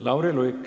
Lauri Luik.